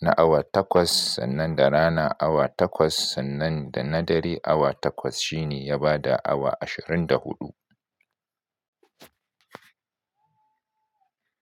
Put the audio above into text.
na awa takwas, sannan da rana awa takwas, sannan da na dare awa takwas. Shi ne ya bada awa ashirin da huɗu.